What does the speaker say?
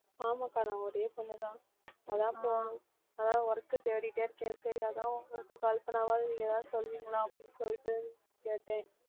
ஆமாம்கா நான் ஒரே பொண்ணு தான் அதான் போணும் அதான் work தேடிட்டே இருக்கேன் சரி அதான் உங்களுக்கு call பண்ணாவாவது நீங்க ஏதாவது சொல்லுவீங்களா அப்படின்னு சொல்லிட்டு கேட்டேன்